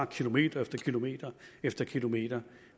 kilometer kilometer efter kilometer